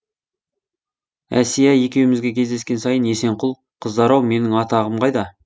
әсия екеумізге кездескен сайын есенқұл қыздар ау менің атағым қайда